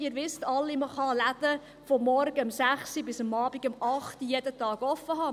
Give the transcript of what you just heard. Sie alle wissen: Man kann die Läden von morgens ab 6 Uhr bis abends um 20 Uhr jeden Tag geöffnet haben.